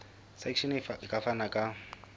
section e ka fana ka